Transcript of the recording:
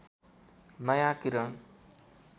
नयाँ किरण